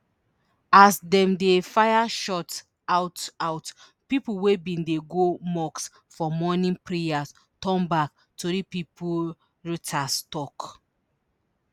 as dem dey fire shots out out pipo wey bin dey go mosque for morning prayers turn back tori pipo reuters tok